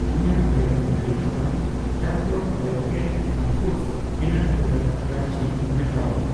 ᱤᱧᱟᱜ ᱟᱭᱴᱮᱢ ᱛᱟᱹᱞᱤᱠᱟ ᱠᱷᱚᱱ ᱰᱚᱠᱛᱟᱨ ᱳᱭᱮᱴᱠᱮᱨ ᱯᱷᱟᱱᱯᱷᱩᱰᱚᱥ ᱚᱤᱱᱟᱴ ᱵᱟᱨᱟᱴ ᱠᱨᱟᱧᱡᱤ ᱢᱮᱴᱟᱣ ᱢᱮ ᱾